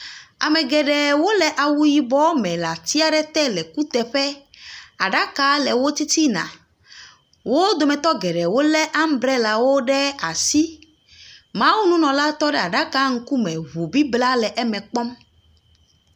Ame geɖewo le awu yibɔ me le ati aɖe te le kuteƒe, aɖaka le wo titina. Wo domnetɔ geɖewo lé ambellawo ɖe asi. Mawununɔla ŋu bibla le eme kpɔm.